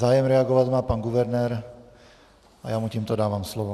Zájem reagovat má pan guvernér a já mu tímto dávám slovo.